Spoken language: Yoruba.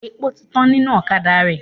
Epo ti tán nínú ọ̀kadà rẹ.